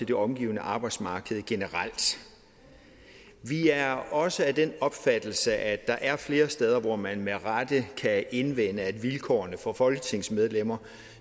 det omgivende arbejdsmarked generelt vi er også af den opfattelse at der er flere steder hvor man med rette kan indvende at vilkårene for folketingsmedlemmer